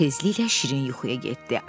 Tezliklə şirin yuxuya getdi.